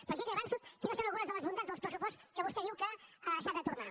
però jo ja li avanço quines són algunes de les bondats del pressupost que vostè diu que s’ha de tornar